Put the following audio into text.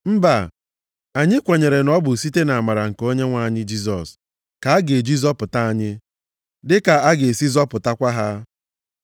Mba, anyị kwenyere na ọ bụ site nʼamara nke Onyenwe anyị Jisọs ka a ga-eji zọpụta anyị, dịka a ga-esi zọpụtakwa ha.”